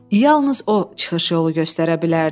Yalnız o çıxış yolu göstərə bilərdi.